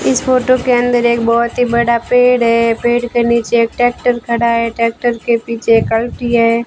इस फोटो के अंदर एक बहुत ही बड़ा पेड़ है पेड़ के नीचे ट्रैक्टर खड़ा है ट्रैक्टर के पीछे कल्टी है।